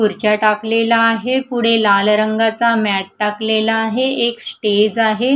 खुर्च्या टाकलेला आहे पुढे लाल रंगाचा मॅट टाकलेला आहे एक स्टेज आहे.